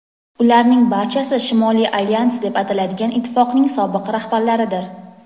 ularning barchasi Shimoliy alyans deb ataladigan ittifoqning sobiq rahbarlaridir.